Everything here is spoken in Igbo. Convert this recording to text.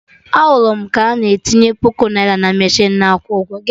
Ahụrụ m ka na etinye puku naira na mechinu na akwụ ụgwọ